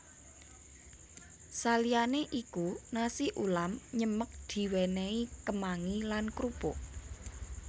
Saliyanè iku nasi ulam nyemek diwènèhi kemangi lan krupuk